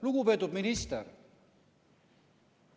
Lugupeetud minister!